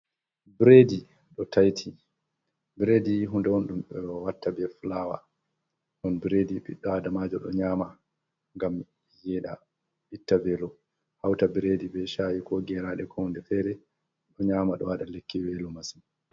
Bredi ɗo taiti, bredi hunde on ɗum ɓe watta be flawa ɗon bredi ɓiɗɗo adamajo ɗo nyaama ngam yeɗa, itta velo. Hauta bredi be shayi, ko geraɗe, ko hunde fere, ɗo nyaama ɗo waɗa lekki welo masin.